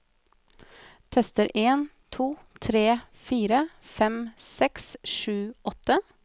Tester en to tre fire fem seks sju åtte